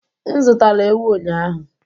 M zụtara ewu ụnyahụ.